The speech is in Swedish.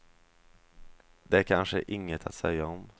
Det är kanske inget att säga om.